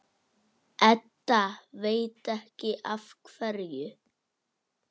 Edda veit ekki af hverju.